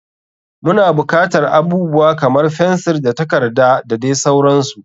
Muna bukatar abubuwa kamar fensir da takarda da dai sauransu.